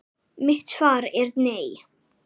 Mitt svar er nei.